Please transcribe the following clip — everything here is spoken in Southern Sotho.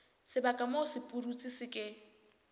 sebaka moo sepudutsi se ke